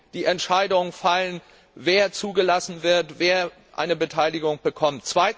die Entscheidungen fallen, wer zugelassen wird und wer eine Beteiligung bekommt.